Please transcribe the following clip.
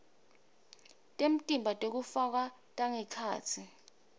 temtimba tekufakwa tangekhatsi